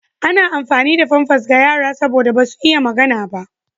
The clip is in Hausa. Ana amfani da famfas ga yara saboda basu iya magana ba.